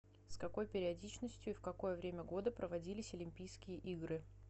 с какой периодичностью и в какое время года проводились олимпийские игры